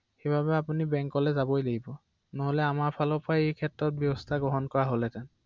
অ অ অ